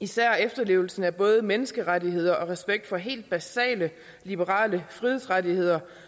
især efterlevelsen af både menneskerettigheder og respekt for helt basale liberale frihedsrettigheder